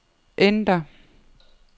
enter